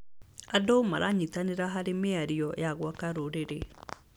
Andũ maranyitanĩra harĩ mĩxario ya gwaka rũrĩrĩ.